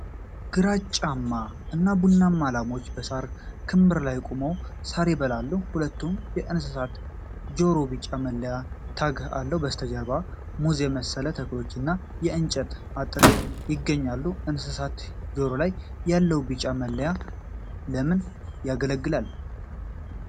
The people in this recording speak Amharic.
ግራጫማ እና ቡናማ ላሞች በሳር ክምር ላይ ቆመው ሳር ይበላሉ። ሁለቱም የእንስሳት ጆሮ ቢጫ መለያ (ታግ) አለው። ከበስተጀርባ ሙዝ የመሰሉ ተክሎችና የእንጨት አጥር ይገኛሉ። የእንስሳት ጆሮ ላይ ያለው ቢጫ መለያ ለምን ያገለግላል?